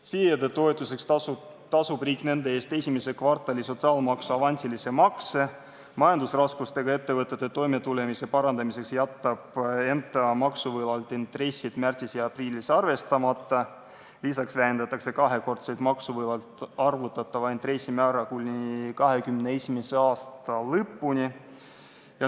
FIE-de toetuseks tasub riik nende eest esimese kvartali sotsiaalmaksu avansilise makse, majandusraskustega ettevõtete toimetuleku parandamiseks jätab EMTA maksuvõlalt intressid märtsis ja aprillis arvestamata, lisaks vähendatakse kahekordselt maksuvõlalt arvutatava intressi määra kuni 2021. aasta lõpuni.